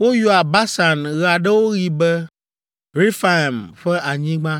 Woyɔa Basan ɣe aɖewo ɣi be, “Refaim ƒe Anyigba.”